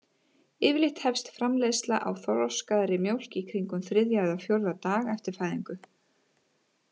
Yfirleitt hefst framleiðsla á þroskaðri mjólk í kringum þriðja eða fjórða dag eftir fæðingu.